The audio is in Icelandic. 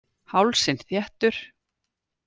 Hálsinn þéttur.